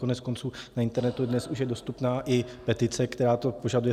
Koneckonců na internetu je dnes už dostupná i petice, která to požaduje.